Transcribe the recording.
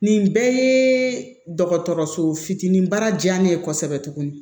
Nin bɛɛ ye dɔgɔtɔrɔso fitinin ba diya ne ye kosɛbɛ tuguni